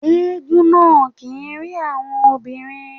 Éégún náà kì ń rí àwọn obìnrin.